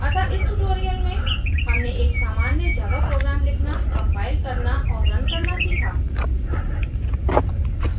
अतः इस tutorial में हमने एक सामान्य java program लिखना compile करना और रन करना सीखा